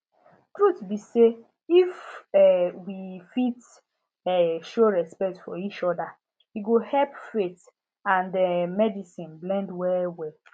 truth be say if um we fit um show respect for each other e go help faith and um medicine blend well well